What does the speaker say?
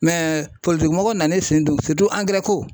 mɔgɔw nan'u sen don ko.